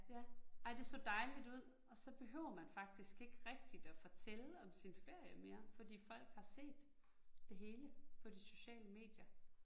Ja, ej det så dejligt ud, og så behøver man faktisk ikke rigtigt at fortælle om sin ferie mere, fordi folk har set det hele på de sociale medier